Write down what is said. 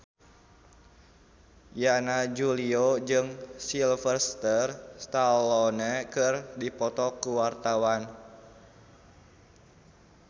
Yana Julio jeung Sylvester Stallone keur dipoto ku wartawan